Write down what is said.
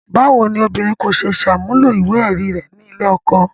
Báwo ni obìnrin kò ṣe ní ṣàmúlò ìwé-ẹ̀rí rẹ̀ nílé ọkọ?